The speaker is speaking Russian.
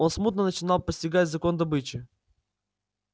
он смутно начинал постигать закон добычи